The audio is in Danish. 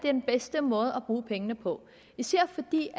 er den bedste måde at bruge pengene på især fordi